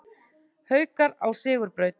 Haukar á sigurbraut